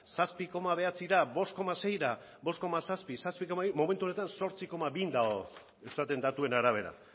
zazpi koma bederatzira bost koma seira bost koma zazpi momentu honetan zortzi koma bi dago eustatet datuen arabera